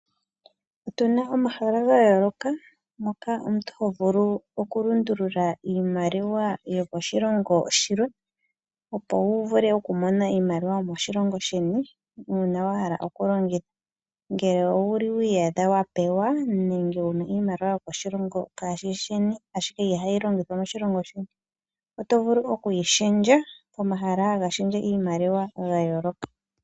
Otuna omahala gayooloka mpoka omuntu ho vulu okulundulula iimaliwa yomoshilongo shilwe, opo wu vule okumona iimaliwa yomoshilongo sheni, uuna wa hala okulongitha. Ngele owu li wi iyadha wa pewa nenge wu na iimaliwa yokoshilongo kaashi shi sheni, ashike ihayi longithwa moshilongo sheni oto vulu okuyi shendja pomahala haga shendje iimaliwa ga yooloka.